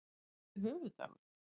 Hvenær er höfuðdagur?